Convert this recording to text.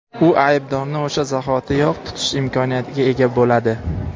u aybdorni o‘sha zahoti yoq tutish imkoniyatiga ega bo‘ladi.